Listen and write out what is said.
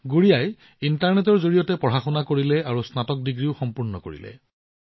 গুড়িয়াই ইণ্টাৰনেটৰ জৰিয়তে পঢ়াশুনা কৰিছিল আৰু স্নাতক ডিগ্ৰীও সম্পূৰ্ণ কৰিছিল